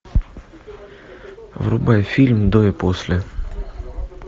врубай фильм до и после